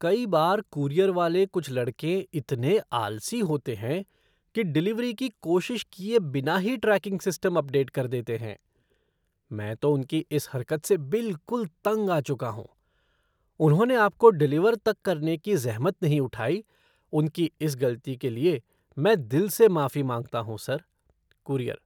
कई बार, कूरियर वाले कुछ लड़के इतने आलसी होते हैं कि डिलीवरी की कोशिश किए बिना ही ट्रैकिंग सिस्टम अपडेट कर देते हैं। मैं तो उनकी इस हरकत से बिल्कुल तंग आ चुका हूँ, उन्होंने आपको डिलीवर तक करने की ज़हमत नहीं उठाई, उनकी इस गलती के लिए मैं दिल से माफी माँगता हूँ, सर। कूरियर